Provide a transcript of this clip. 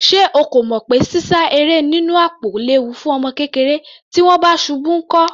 Ṣé o kò mọ̀ pé sísá eré nínú àpò léwu fún ọmọ kékeré? Tí wọ́n bá ṣubú nkọ́?